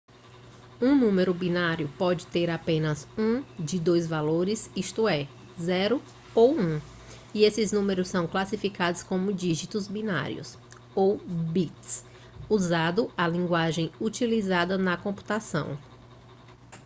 um número binário pode ter apenas um de dois valores isto é 0 ou 1 e esses números são classificados como dígitos binários ou bits usando a linguagem utilizada na computação